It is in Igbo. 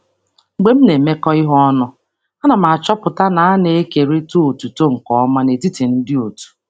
Mgbe m na-arụkọ ọrụ, ana m ahụ na e kewara otuto n'ụzọ ziri ezi n'etiti ndị otu.